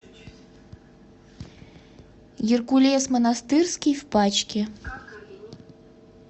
геркулес монастырский в пачке